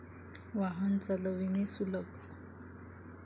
वाहन चालविणे सुलभ.